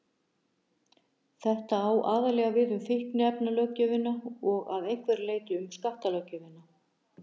Þetta á aðallega við um fíkniefnalöggjöfina og að einhverju leyti um skattalöggjöfina.